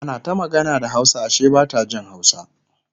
ana ta magana da hausa Ashe Bata Jin hausa